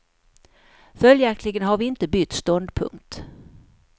Följaktligen har vi inte bytt ståndpunkt.